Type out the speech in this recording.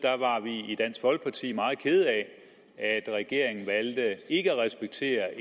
i dansk folkeparti meget kede af at regeringen valgte ikke at respektere